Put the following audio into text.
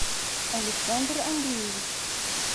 александр андреевич